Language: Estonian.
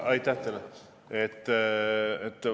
Aitäh teile!